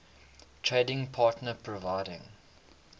trading partner providing